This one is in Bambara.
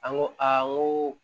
An ko a n ko